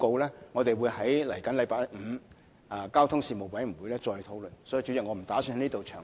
其實，我們會在本星期五的交通事務委員會會議上討論《報告》，所以，主席，我不打算在此詳談。